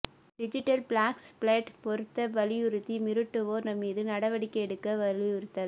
digital flex plate பொருத்த வலியுறுத்தி மிரட்டுவோா் மீது நடவடிக்கை எடுக்க வலியுறுத்தல்